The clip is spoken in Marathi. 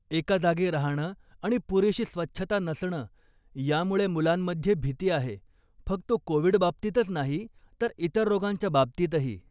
एका जागी राहणं आणि पुरेशी स्वच्छता नसणं यामुळे मुलांमध्ये भीती आहे, फक्त कोव्हीड बाबतीच नाही तर इतर रोगांच्या बाबतीतही.